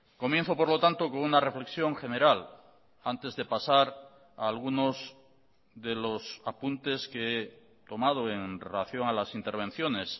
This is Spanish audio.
comienzo por lo tanto con una reflexión general antes de pasar a algunos de los apuntes que he tomado en relación a las intervenciones